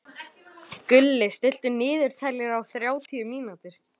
Gulli, stilltu niðurteljara á þrjátíu mínútur.